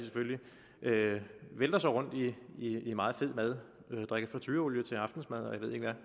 vælter sig rundt i i meget fed mad drikker fritureolie til aftensmad og jeg ved ikke